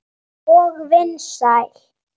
Og vinsæl.